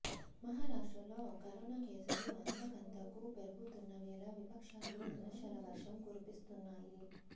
మహారాష్ట్రలో కరోనా కేసులు అంతకంతకూ పెరుగుతున్న వేళ విపక్షాలు విమర్శల వర్షం కురిపిస్తున్నాయి